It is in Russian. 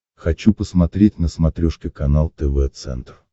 хочу посмотреть на смотрешке канал тв центр